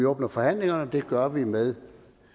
åbner forhandlingerne og det gør vi med